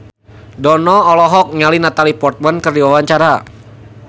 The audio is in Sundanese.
Dono olohok ningali Natalie Portman keur diwawancara